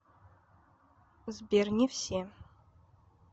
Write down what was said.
сбер не все